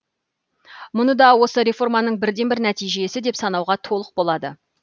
мұны да осы реформаның бірден бір нәтижесі деп санауға толық болады